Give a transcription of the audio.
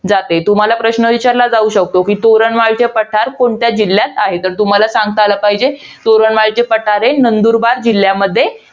जाते. तुम्हाला प्रश्न विचारला जाऊ शकतो. कि तोरणमाळचे पठार कोणत्या जिल्ह्यात आहे? तर तुम्हाला सांगता आलं पाहिजे. तोरणमाळचे पठार हे नंदुरबार जिल्ह्यामध्ये